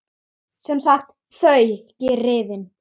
Sem sagt: þau, griðin.